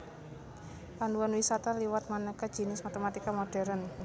Panduan wisata liwat manéka jinis matématika modhèrn